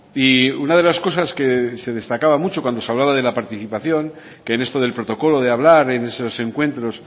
y una de las cosas que se destacaba mucho cuando se hablaba de la participación que en esto del protocolo de hablar en esos encuentros